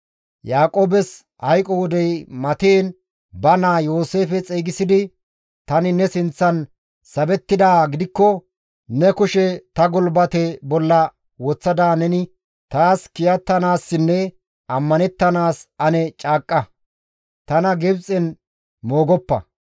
Yaaqoobes hayqo wodey matiin ba naa Yooseefe xeygisidi, «Tani ne sinththan sabettidaa gidikko ne kushe ta gulbate bolla woththada neni taas kiyattanaassinne ammanettanaas ane caaqqa. Tana Gibxen moogoppa.